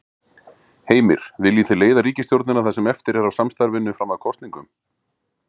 Heimir: Viljið þið leiða ríkisstjórnina það sem eftir er af samstarfinu fram að kosningum?